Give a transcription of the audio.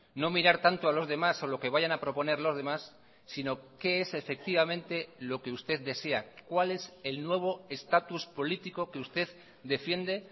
no mirar tanto a los demás o lo que vayan a proponer los demás sino qué es efectivamente lo que usted desea cuál es el nuevo estatus político que usted defiende